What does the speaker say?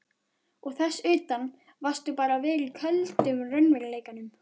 Og þess utan varðstu bara að vera í köldum raunveruleikanum.